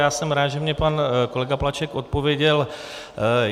Já jsem rád, že mi pan kolega Plaček odpověděl.